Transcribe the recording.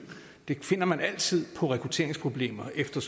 det finder man altid på rekrutteringsproblemer efter